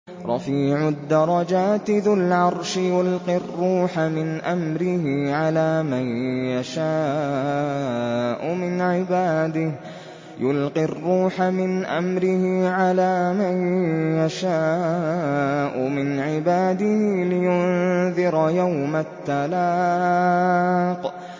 رَفِيعُ الدَّرَجَاتِ ذُو الْعَرْشِ يُلْقِي الرُّوحَ مِنْ أَمْرِهِ عَلَىٰ مَن يَشَاءُ مِنْ عِبَادِهِ لِيُنذِرَ يَوْمَ التَّلَاقِ